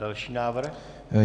Další návrh?